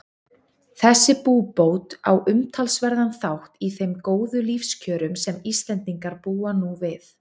Þessi búbót á umtalsverðan þátt í þeim góðu lífskjörum sem Íslendingar búa nú við.